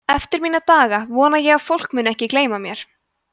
eftir mína daga vona ég að fólk muni ekki gleyma mér